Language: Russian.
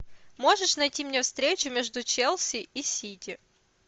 можешь найти мне встречу между челси и сити